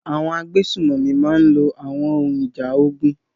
Àwọn agbésùnmọ̀mí máa lo àwọn ohun ìjà ogun.